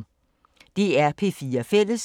DR P4 Fælles